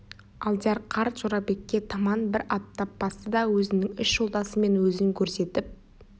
алдияр қарт жорабекке таман бір аттап басты да өзінің үш жолдасы мен өзін көрсетіп